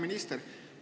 Hea minister!